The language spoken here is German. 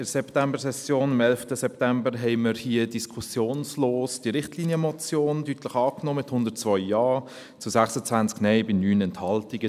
In der Septembersession, am 11. September, nahmen wir hier diskussionslos die Richtlinienmotion deutlich an, mit 102 Ja zu 26 Nein bei 9 Enthaltungen.